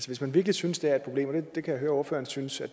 hvis man virkelig synes det er et problem og jeg kan høre ordføreren synes at